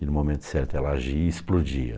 E no momento certo ela agia e explodia.